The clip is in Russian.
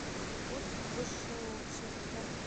путь в высшее общество